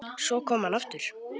Svo kom hann aftur.